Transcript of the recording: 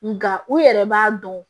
Nga u yɛrɛ b'a dɔn